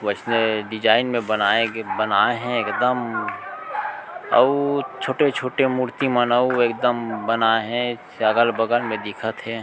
वैसे डिज़ाइन में बनाए गए बनाए हे एकदम अउर छोटे-छोटे मूर्ति मन अउ एकदम बनाए हे अगल-बगल में दिखत हे।